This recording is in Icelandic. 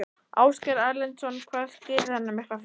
Ásgeir Erlendsson: Hvað skýrir þennan mikla fjölda?